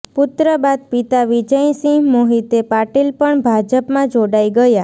પુત્ર બાદ પિતા વિજયસિંહ મોહિતે પાટીલ પણ ભાજપમાં જોડાઈ ગયાં